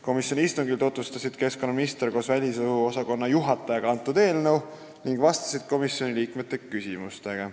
Keskkonnaminister ja ministeeriumi välisõhu osakonna juhataja tutvustasid seal eelnõu ning vastasid komisjoni liikmete küsimustele.